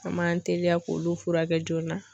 An m'an teliya k'olu furakɛ joona.